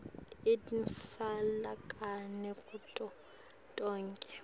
itfolakale kuto tonkhe